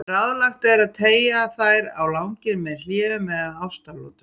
Ráðlegt er að teygja þær á langinn með hléum eða ástaratlotum.